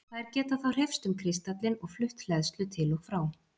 Þær geta þá hreyfst um kristallinn og flutt hleðslu til og frá.